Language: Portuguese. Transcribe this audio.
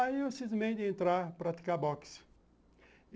Aí eu cismei de entrar, praticar boxe.